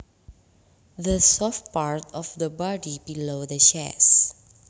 The soft part of the body below the chest